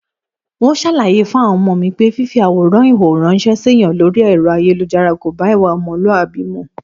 N óò s̩àlàyé fáwo̩n o̩mo̩ mi pé fífi àwòrán ìhòhò ráns̩é̩ séèyàn lórí è̩ro̩ ayélujára kò bá ìwà o̩mo̩lúàbí mu